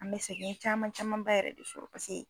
An bɛ sɛgɛn caman camanba yɛrɛ de sɔrɔ ka se yen.